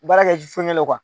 Baara kɛ ji fɛngɛ le